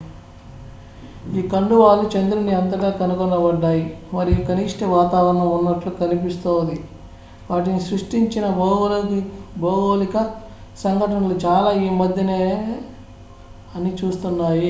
ఈ కండువాలు చంద్రుని అంతటా కనుగొనబడ్డాయి మరియు కనిష్ట వాతావరణం ఉన్నట్లు కనిపిస్తాది వాటిని సృష్టించిన భౌగోళిక సంఘటనలు చాలా ఈమధ్యనేవే అని సూచిస్తున్నాయి